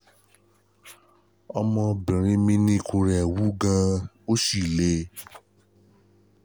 Ọmọbinrin mi ni ikùn rẹ̀ wú gan-an ó sì le